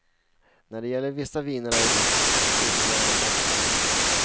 När det gäller vissa viner är vi faktiskt billigare än danskarna.